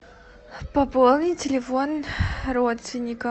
пополнить телефон родственника